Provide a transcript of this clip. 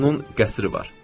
Deyirlər onun qəsri var.